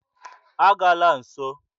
A gala nso!